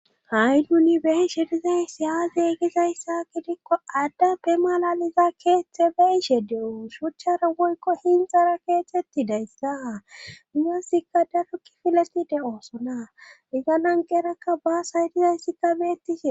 ha7i nuni de7ishe dizaysiyaaze gizayssa gidikko addape malaliza keeththe beishe de7o shuchchara woykko hinxara keethtxetti dayssa minasikka darukki fileti de7oosonaa iganan gerakka baas haydizayssikka beettishe.